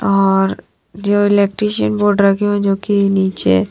और जो इलेक्ट्रीशियन जोड़ रखी हुई है जो की नीचे--